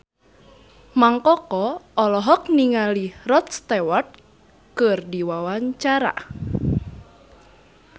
Mang Koko olohok ningali Rod Stewart keur diwawancara